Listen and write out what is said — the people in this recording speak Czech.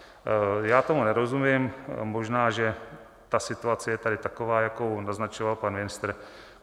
Já tomu nerozumím - možná že ta situace je tady taková, jakou naznačoval pan ministr.